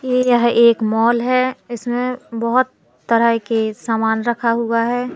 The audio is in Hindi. ये यह एक माल है इसमें बहोत तरह के सामान रखा हुआ है।